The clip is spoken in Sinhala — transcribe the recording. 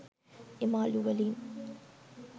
එම අළු වලින්